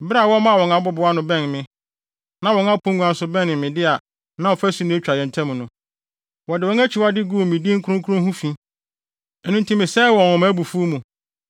Bere a wɔmaa wɔn abobow ano bɛnee me, na wɔn apongua nso bɛnee me de a na ɔfasu na etwa yɛn ntam no, wɔde wɔn akyiwadeyɛ guu me din kronkron ho fi. Ɛno nti mesɛee wɔn wɔ mʼabufuw mu.